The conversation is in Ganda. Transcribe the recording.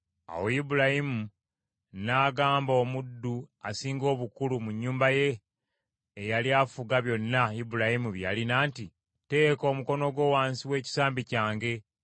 Awo Ibulayimu n’agamba omuddu asinga obukulu mu nnyumba ye, eyali afuga byonna Ibulayimu bye yalina nti, “Teeka omukono gwo wansi w’ekisambi kyange